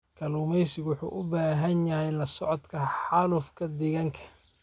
Kalluumaysigu wuxuu u baahan yahay la socodka xaalufka deegaanka.